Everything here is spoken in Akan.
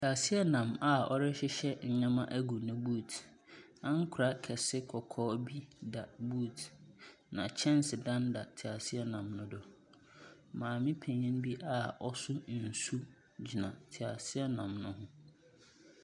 Teaseɛnam a ɔrehyehyɛ nneɛma ago ne boot. Ankorɛ kɛse kɔkɔɔ bi da boot, na kyɛnsedan da teaseɛnam no do. Maame panin bi a ɔso nsu gyina teaseɛnam no ho.